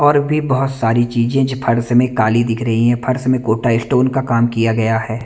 और भी बहुत सारी चीजें जो फर्श में काली दिख रही हैं फर्श में गोटा स्टोन का काम किया गया है।